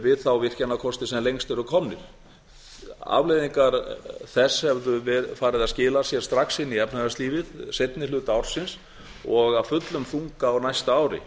við þá virkjanakosti sem lengst eru komnir afleiðingar þess hefðu farið að skila sér strax inn í efnahagslífið seinni hluta ársins og af fullum þunga á næsta ári